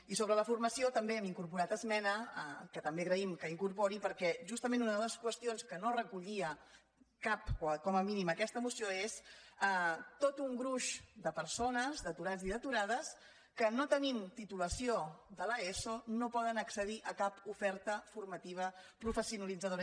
i sobre la formació també hi hem incorporat esmena que també agraïm que incorpori perquè justament una de les qüestions que no recollia cap o com a mínim aquesta moció és tot un gruix de persones d’aturats i d’aturades que no tenint titulació de l’eso no poden accedir a cap oferta formativa professionalitzadora